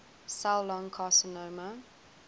cell lung carcinoma